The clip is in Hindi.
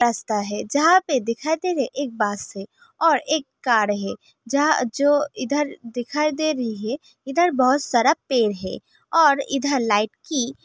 रास्ता है जहां पे दिखाई दे रहे हैं एक बस है और एक कार है जहां जो इधर दिखाई दे रही है । इधर बहोत सारा पेड़ है और लाइट की--